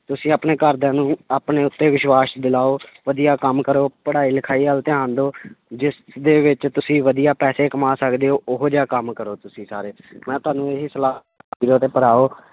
ਤੁਸੀਂ ਆਪਣੇ ਘਰਦਿਆਂ ਨੂੰ ਆਪਣੇ ਉੱਤੇ ਵਿਸ਼ਵਾਸ਼ ਦਿਲਾਓ ਵਧੀਆ ਕੰਮ ਕਰੋ, ਪੜ੍ਹਾਈ ਲਿਖਾਈ ਵੱਲ ਧਿਆਨ ਦਓ ਜਿਸਦੇ ਵਿੱਚ ਤੁਸੀਂ ਵਧੀਆ ਪੈਸੇ ਕਮਾ ਸਕਦੇ ਹੋ ਉਹ ਜਿਹਾ ਕੰਮ ਕਰੋ ਤੁਸੀਂ ਸਾਰੇ ਮੈਂ ਤੁਹਾਨੂੰ ਇਹੀ ਸਲਾਹ ਵੀਰੋ ਤੇ ਭਰਾਵੋ